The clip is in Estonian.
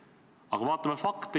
Aga vaatame fakte.